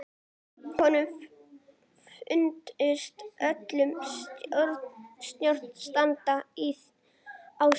Snjór var á jörð og ekki dimmt.